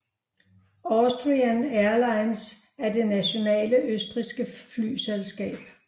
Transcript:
Austrian Airlines er det nationale østrigske flyselskab